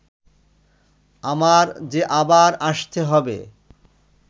আমার যে আবার আসতে হবে